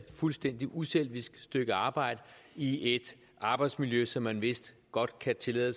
fuldstændig uselvisk stykke arbejde i et arbejdsmiljø som jeg vist godt kan tillade